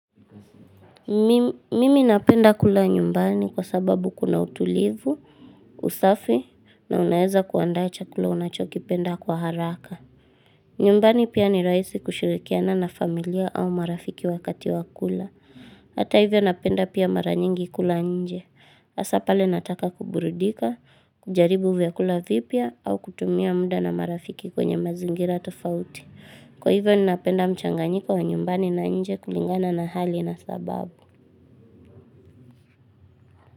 Mimi napenda kula nyumbani kwa sababu kuna utulivu, usafi na unaeza kuandaa chakula unachokipenda kwa haraka. Nyumbani pia ni rahisi kushirikiana na familia au marafiki wakati wa kula. Hata hivyo napenda pia mara nyingi kula nje. Hasa pale nataka kuburidika, kujaribu vya kula vipya au kutumia muda na marafiki kwenye mazingira tofauti. Kwa hivyo ninapenda mchanganyiko wa nyumbani na nje kulingana na hali na sababu.